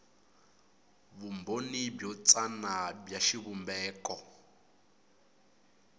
vumbhoni byo tsana bya xivumbeko